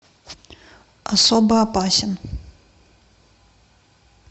особо опасен